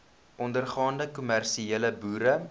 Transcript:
ondergaande kommersiële boere